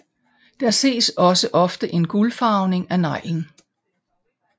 Der ses også ofte en gulfarvning af neglen